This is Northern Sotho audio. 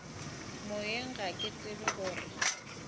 moyeng ga ke tsebe gore